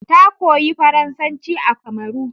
Ta koyi faransaci a Kamaru